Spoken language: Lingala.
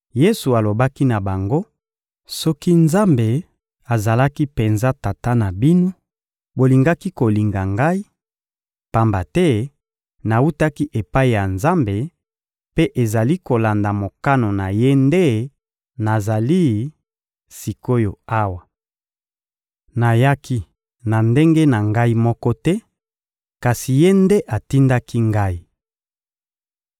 Yesu alobaki na bango: — Soki Nzambe azalaki penza Tata na bino, bolingaki kolinga Ngai, pamba te nawutaki epai ya Nzambe, mpe ezali kolanda mokano na Ye nde nazali sik’oyo awa. Nayaki na ndenge na Ngai moko te, kasi Ye nde atindaki Ngai.